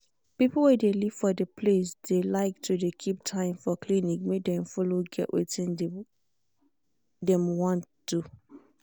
people wey de live for de place de like to de keep time for clinic make dem follow get wetin de wey dem want do.s